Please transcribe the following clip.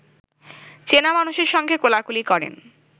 চেনা মানুষের সঙ্গে কোলাকুলি করেন